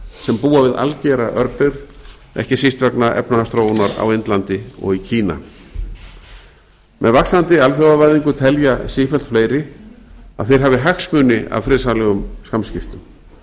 sem búa við algera örbirgð ekki síst vegna efnahagsþróunar á indlandi og í kína með vaxandi alþjóðavæðingu telja sífellt fleiri að þeir hafi hagsmuni af friðsamlegum samskiptum